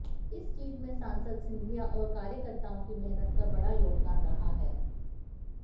इस जीत में सांसद सिंधिया और कार्यकर्ताओं की मेहनत का बड़ा योगदान रहा है